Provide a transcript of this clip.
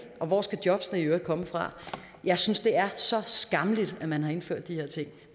og hvor skal jobbene i øvrigt komme fra jeg synes det er så skammeligt at man har indført de her ting